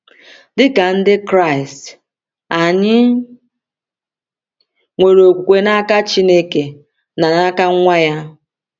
Dị ka Ndị Kraịst, anyị nwere okwukwe n’aka Chineke na n’aka Nwa ya.